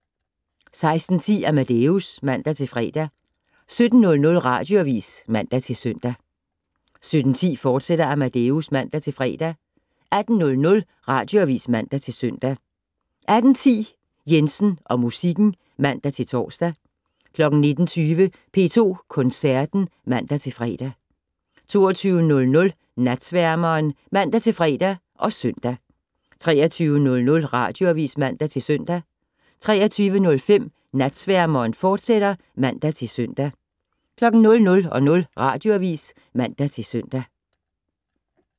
16:10: Amadeus (man-fre) 17:00: Radioavis (man-søn) 17:10: Amadeus, fortsat (man-fre) 18:00: Radioavis (man-søn) 18:10: Jensen og musikken (man-tor) 19:20: P2 Koncerten (man-fre) 22:00: Natsværmeren (man-fre og -søn) 23:00: Radioavis (man-søn) 23:05: Natsværmeren, fortsat (man-søn) 00:00: Radioavis (man-søn)